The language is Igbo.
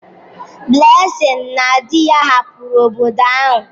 Blessing na di ya hapụrụ obodo ahụ.